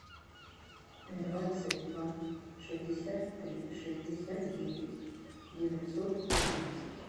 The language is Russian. двадцать два шестьдесят три шестьдесят девять девятьсот пятнадцать